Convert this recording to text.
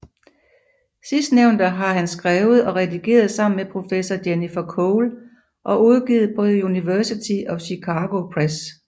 Sidstnævnte har han skrevet og redigeret sammen med professor Jennifer Cole og udgivet på The University of Chicago Press